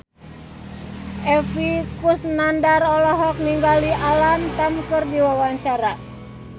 Epy Kusnandar olohok ningali Alam Tam keur diwawancara